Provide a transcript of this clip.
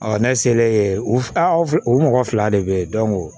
ne selen u fila u mɔgɔ fila de be yen